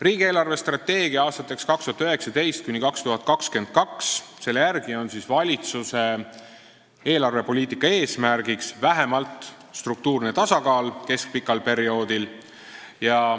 Riigi 2019.–2022. aasta eelarvestrateegia järgi on valitsuse eelarvepoliitika eesmärk vähemalt struktuurne tasakaal keskpikal perioodil.